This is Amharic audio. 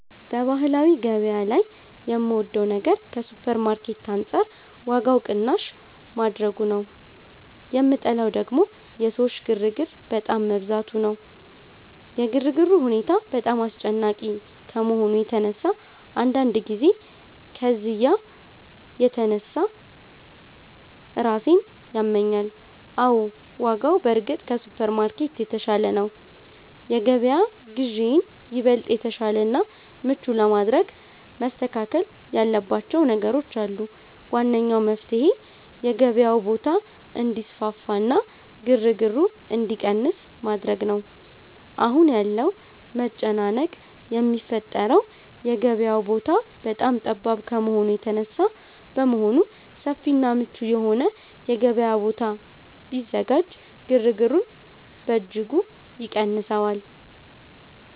በባህላዊ ገበያ ላይ የምወደው ነገር ከሱፐርማርኬት አንጻር ዋጋው ቅናሽ ማድረጉ ነው፤ የምጠላው ደግሞ የሰዎች ግርግር በጣም መብዛቱ ነው። የግርግሩ ሁኔታ በጣም አስጨናቂ ከመሆኑ የተነሳ አንዳንድ ጊዜ ከዝያ የተነሳ ራሴን ያመኛል። አዎ፣ ዋጋው በእርግጥ ከሱፐርማርኬት የተሻለ ነው። የገበያ ግዢዬን ይበልጥ የተሻለና ምቹ ለማድረግ መስተካከል ያለባቸው ነገሮች አሉ። ዋነኛው መፍትሔ የገበያው ቦታ እንዲሰፋና ግርግሩ እንዲቀንስ ማድረግ ነው። አሁን ያለው መጨናነቅ የሚፈጠረው የገበያው ቦታ በጣም ጠባብ ከመሆኑ የተነሳ በመሆኑ፣ ሰፊና ምቹ የሆነ የገበያ ቦታ ቢዘጋጅ ግርግሩን በእጅጉ ይቀንሰዋል